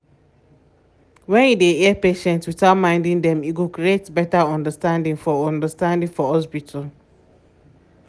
when you dey hear patients without minding dem e go create better understanding for understanding for hospital.